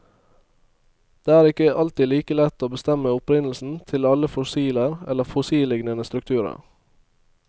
Det er ikke alltid like lett å bestemme opprinnelsen til alle fossiler eller fossilliknende strukturer.